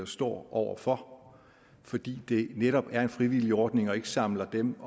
står over for fordi det netop er en frivillig ordning og ikke samler dem